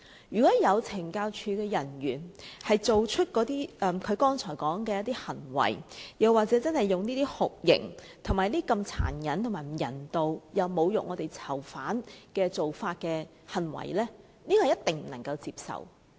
如果有懲教署人員作出他剛才說的行為，真的對在囚人士施以酷刑及殘忍、不人道的待遇、又或作出侮辱囚犯的行為，這一定不能接受。